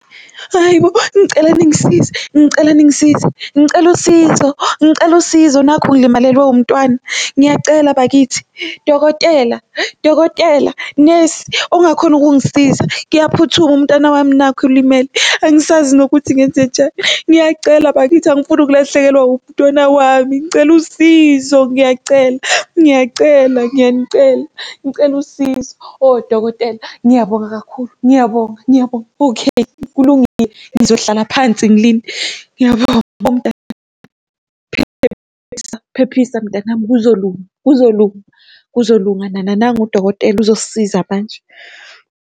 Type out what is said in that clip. Hayi bo, ngicela ningisize, ngicela ningisize, ngicela usizo, ngicela usizo. Nakhu ngilimalelwe wumntwana ngiyacela bakithi, dokotela, dokotela, nesi ongakhona ukungisiza kuyaphuthuma umntwana wami nakhu ilimele. Angisazi nokuthi ngenzenjani, ngiyacela bakithi angifuni ukulahlekelwa umntwana wami ngicela usizo ngiyacela, ngiyacela, ngiyanicela, ngicela usizo, oh odokotela ngiyabonga kakhulu ngiyabonga ngiyabonga okay, kulungile, ngizohlala phansi ngilinde ngiyabonga . Phephisa, phephisa mntanami kuzolunga, kuzolunga, kuzolunga nana nangu udokotela uzosisiza manje.